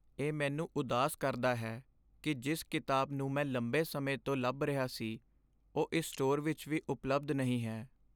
ਇਹ ਮੈਨੂੰ ਉਦਾਸ ਕਰਦਾ ਹੈ ਕਿ ਜਿਸ ਕਿਤਾਬ ਨੂੰ ਮੈਂ ਲੰਬੇ ਸਮੇਂ ਤੋਂ ਲੱਭ ਰਿਹਾ ਸੀ ਉਹ ਇਸ ਸਟੋਰ ਵਿੱਚ ਵੀ ਉਪਲਬਧ ਨਹੀਂ ਹੈ।